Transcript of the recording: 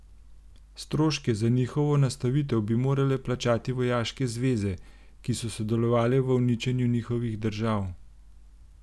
Stroške za njihovo nastanitev bi morale plačati vojaške zveze, ki so sodelovale v uničenju njihovih držav.